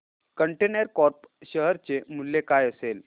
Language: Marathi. कंटेनर कॉर्प शेअर चे मूल्य काय असेल